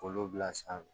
K'olu bila sanfɛ